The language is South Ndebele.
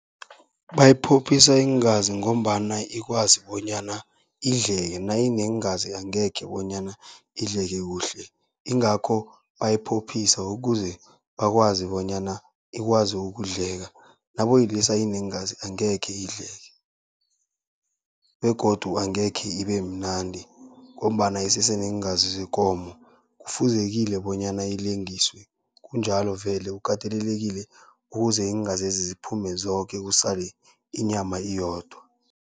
Bayiphophisa iingazi ngombana ikwazi bonyana idleke, nayineengazi angekhe bonyana idleke kuhle. Ingakho bayiphophisa ukuze bakwazi bonyana ikwazi ukudleka, naboyilisa ineengazi angekhe idleke. Begodu angekhe ibe mnandi ngombana isese neengazi zekomo, kufuzekile bonyana ilengiswe, kunjalo vele kukatelelekile ukuze iingazezi ziphume zoke kusale inyama iyodwa.